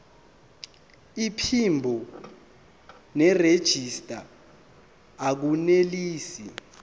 iphimbo nerejista akunelisi